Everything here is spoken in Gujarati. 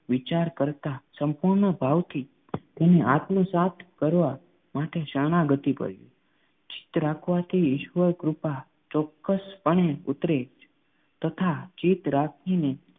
વિચાર કરતા સંપૂર્ણ ભાવથી તેને આત્મસાત કરવા માટે શરણાગતિ કરવી જોઈએ. ચિત્ત રાખવાથી ઈશ્વર કૃપા ચોક્કસપણે ઉતરે જ તથા ચિત્ત રાખીને